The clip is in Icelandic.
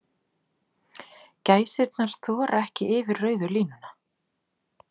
Gæsirnar þora ekki yfir rauðu línuna